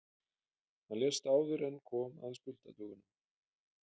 Hann lést áður en kom að skuldadögunum.